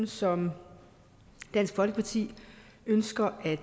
som dansk folkeparti ønsker at